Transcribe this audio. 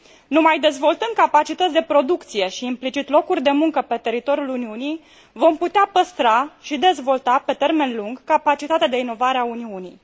Numai dezvoltând capacități de producție și, implicit, locuri de muncă pe teritoriul Uniunii vom putea păstra și dezvolta pe termen lung capacitatea de inovare a Uniunii.